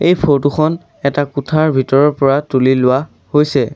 এই ফটো খন এটা কোঠাৰ ভিতৰৰ পৰা তুলি লোৱা হৈছে।